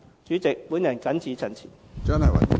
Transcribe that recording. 主席，我謹此陳辭。